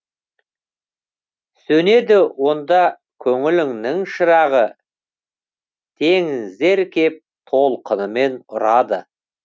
сөнеді онда көңіліңнің шырағы теңіздер кеп толқынымен ұрады